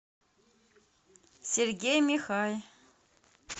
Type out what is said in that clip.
сергей михай